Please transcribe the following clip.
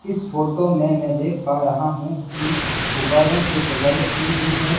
इस फोटो में मैं देख पा रहा हूं कि गुब्बारों से सजावट की गई है।